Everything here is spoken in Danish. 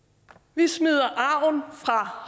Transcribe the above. vi smider arven fra